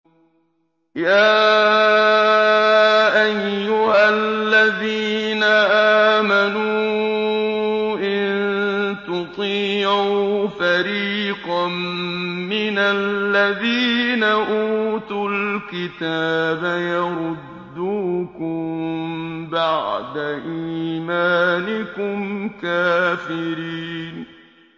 يَا أَيُّهَا الَّذِينَ آمَنُوا إِن تُطِيعُوا فَرِيقًا مِّنَ الَّذِينَ أُوتُوا الْكِتَابَ يَرُدُّوكُم بَعْدَ إِيمَانِكُمْ كَافِرِينَ